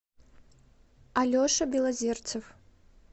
алеша белозерцев